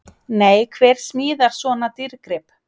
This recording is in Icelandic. Nei, hver smíðar svona dýrgrip?!